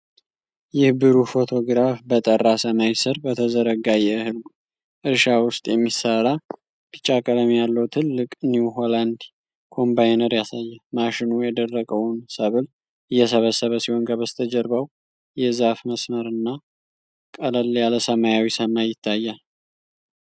ይህ ብሩህ ፎቶግራፍ በጠራ ሰማይ ስር በተዘረጋ የእህል እርሻ ውስጥ የሚሠራ ቢጫ ቀለም ያለው ትልቅ የ'ኒው ሆላንድ' ኮምባይነር ያሳያል። ማሽኑ የደረቀውን ሰብል እየሰበሰበ ሲሆን ከበስተጀርባው የዛፍ መስመር እና ቀለል ያለ ሰማያዊ ሰማይ ይታያል።